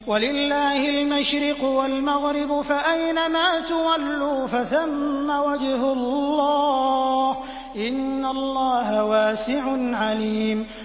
وَلِلَّهِ الْمَشْرِقُ وَالْمَغْرِبُ ۚ فَأَيْنَمَا تُوَلُّوا فَثَمَّ وَجْهُ اللَّهِ ۚ إِنَّ اللَّهَ وَاسِعٌ عَلِيمٌ